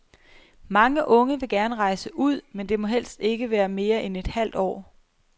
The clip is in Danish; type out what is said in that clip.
Mange unge vil gerne rejse ud, men det må helst ikke være mere end et halvt år.